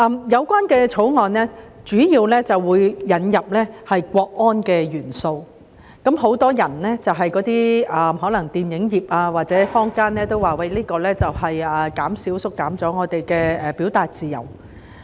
《條例草案》主要是引入國安元素，很多可能從事電影業或坊間的人士均表示，這會縮減人們的表達自由。